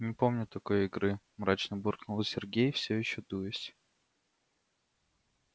не помню такой игры мрачно буркнул сергей всё ещё дуясь